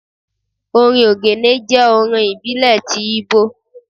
orín ogene jẹ orin ibílé tí Igbo